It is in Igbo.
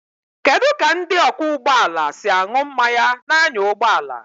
Kedu ka ndị ọkwọ ụgbọ ala si aṅụ mmanya na-anya ụgbọ ala?